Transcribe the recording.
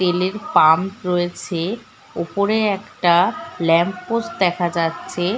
তেলের পাম্প রয়েছে উপরে একটা ল্যাম্প পোস্ট দেখা যাচ্ছে --